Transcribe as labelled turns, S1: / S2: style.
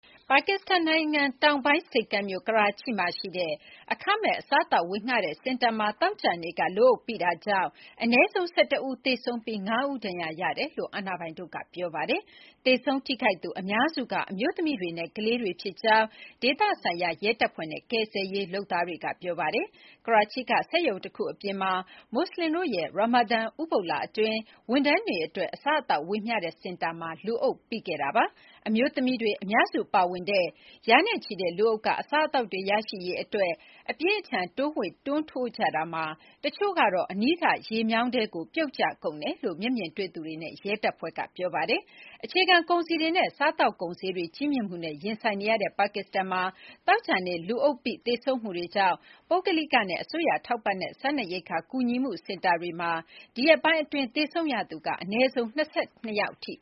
S1: ပါကစ္စတန်နိုင်ငံတောင်ပိုင်း ဆိပ်ကမ်းမြို့ Karachi မှာရှိတဲ့ အခမဲ့အစားအသောက်ဝေငှတဲ့စင်တာမှာ သောကြာနေ့က လူအုပ်ပိတာကြောင့် အနည်းဆုံး ၁၁ ဦး သေဆုံးပြီး ၅ ဦး ဒဏ်ရာရရှိကြောင်း အာဏာပိုင်တို့က ပြောပါတယ်။ သေဆုံး ထိခိုက်သူအများစုက အမျိုးသမီးတွေနဲ့ ကလေးငယ်တွေဖြစ်ကြောင်း ဒေသဆိုင်ရာရဲတပ်ဖွဲ့နဲ့ ကယ်ဆယ်ရေးလုပ်သားတွေက ပြောပါတယ်။ ကရာချိကစက်ရုံတခုအပြင်မှာ မူဆလင်တို့ရဲ့ရာမာဒန်ဥပုသ်လအတွင်း ဝန်ထမ်းတွေ အတွက် အစားအသောက်ဝေမျှတဲ့စင်တာမှာ လူအုပ်ပိခဲ့တာပါ။ အမျိုးသမီးတွေ အများစုပါဝင်တဲ့ ရာနဲ့ချီတဲ့လူအုပ်က အစားအသောက်တွေရရှိရေး အပြင်းအထန်တိုးဝှေ့ တွန်းထိုးကြတာမှာ တချို့က အနီးကရေမြောင်းထဲကို ပြုတ်ကျကြတယ်လို့ မျက်မြင်တွေ့သူတွေနဲ့ ရဲ တပ်ဖွဲ့က ပြောပါတယ်။ အခြေခံကုန်စည်တွေနဲ့ စားသောက်ကုန်ဈေးတွေ ကြီးမြင့်မှုနဲ့ ရင်ဆိုင်နေရတဲ့ ပါကစ္စတန်မှာ သောကြာနေ့ လူအုပ်ပိ လူသေဆုံးမှုတွေကြောင့် ပုဂ္ဂလိကနဲ့ အစိုးရထောက်ပံ့တဲ့ စားနပ်ရိက္ခာကူညီမှုစင်တာတွေမှာ ဒီရက်ပိုင်းအတွင်း သေဆုံးရသူ
S2: အနည်းဆုံး ၂၂ ယောက်ထိ